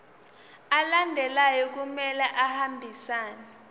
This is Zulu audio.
alandelayo kumele ahambisane